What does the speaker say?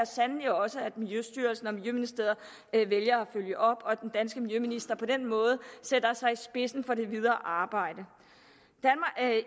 sandelig også at miljøstyrelsen og miljøministeriet vælger at følge op og at den danske miljøminister på den måde sætter sig i spidsen for det videre arbejde